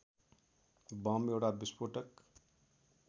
bomb एउटा विस्फोटक